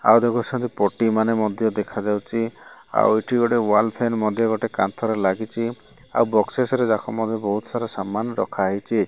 ଆଉ ଦେଖୁଚନ୍ତି ପଟିମାନେ ମଧ୍ୟ ଦେଖାଯାଉଚି ଆଉ ଏଠି ଗୋଟେ ୱାଲ୍ ଫ୍ଯାନ୍ ମଧ୍ୟ ଗୋଟେ କାନ୍ଥରେ ଲାଗିଚି ଆଉ ବକ୍ସେସ୍ ରେ ଜଖମ ବି ବୋହୁତ୍ ସାରା ସାମାନ୍ ରଖାହେଇଚି।